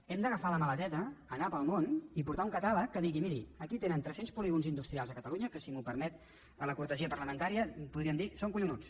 hem d’agafar la maleteta anar pel món i portar un catàleg que digui miri aquí tenen tres cents polígons industrials a catalunya que si m’ho permet la cortesia parlamentària podríem dir són collonuts